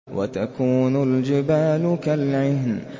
وَتَكُونُ الْجِبَالُ كَالْعِهْنِ